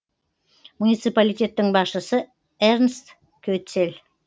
муниципалитеттің басшысы эрнст кетцель